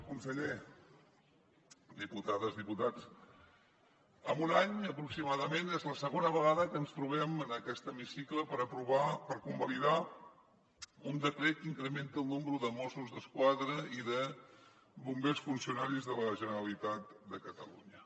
conseller diputades diputats en un any aproximadament és la segona vegada que ens trobem en aquest hemicicle per convalidar un decret que incrementa el nombre de mossos d’esquadra i de bombers funcionaris de la generalitat de catalunya